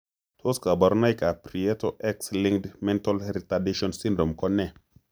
Tos kaborunoik ab prieto x linked mental retardation syndrome ko ne?